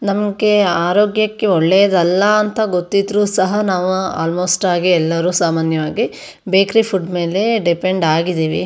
ನಮ್ಮಕೆ ಆರೋಗ್ಯಕ್ಕೆ ಒಳ್ಳೇದಲ್ಲಾ ಅಂತ ಗೊತ್ತಿದ್ರು ಸಹ ನಾವ ಆಲ್ಮೊಸ್ಟ್ ಆಗೆ ಎಲ್ಲಾರು ಸಾಮಾನ್ಯವಾಗಿ ಬೇಕರಿ ಫುಡ್ ಮೇಲೆ ಡಿಪೆಂಡ್ ಆಗಿದಿವಿ.